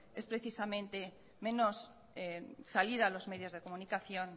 es precisamente salir menos en los medios de comunicación